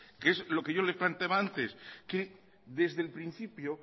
qué es lo que yo le planteaba antes que desde el principio